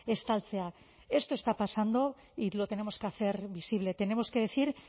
estaltzea esto está pasando y lo tenemos que hacer visible tenemos que decir